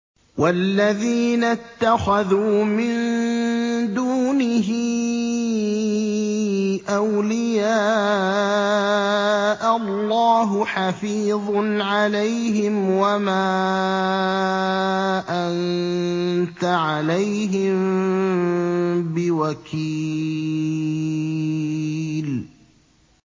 وَالَّذِينَ اتَّخَذُوا مِن دُونِهِ أَوْلِيَاءَ اللَّهُ حَفِيظٌ عَلَيْهِمْ وَمَا أَنتَ عَلَيْهِم بِوَكِيلٍ